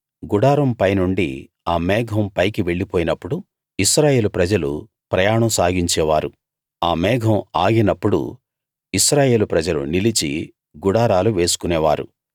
గుడారం పైనుండి ఆ మేఘం పైకి వెళ్ళిపోయినప్పుడు ఇశ్రాయేలు ప్రజలు ప్రయాణం సాగించేవారు ఆ మేఘం ఆగినప్పుడు ఇశ్రాయేలు ప్రజలు నిలిచి గుడారాలు వేసుకునేవారు